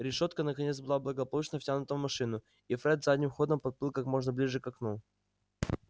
решётка наконец была благополучно втянута в машину и фред задним ходом подплыл как можно ближе к окну